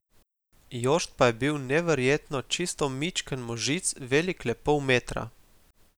Jošt pa je bil, neverjetno, čisto mičken možic, velik le pol metra.